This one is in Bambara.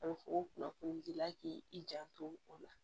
o kunnafoni dila k'i janto o la